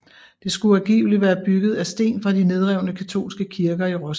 Det skulle angiveligt være bygget af sten fra de nedrevne katolske kirker i Roskilde